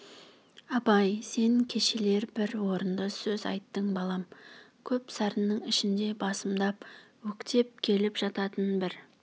абай сен кешелер бір орынды сөз айттың балам көп сарынның ішінде басымдап өктеп келіп жататын бір